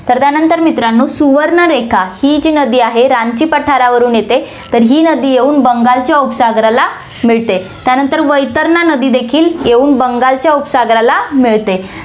तर, त्यानंतर मित्रांनो, सुवर्णरेखा, ही जी नदी आहे, रांची पठारावरून येते, तर ही नदी येऊन बंगालच्या उपसागराला मिळते, त्यानंतर वैतरणा नदी देखील येऊन बंगालच्या उपसागराला मिळते.